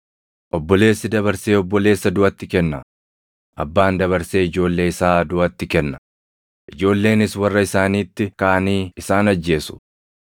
“Obboleessi dabarsee obboleessa duʼatti kenna; abbaan dabarsee ijoollee isaa duʼatti kenna; ijoolleenis warra isaaniitti kaʼanii isaan ajjeesu.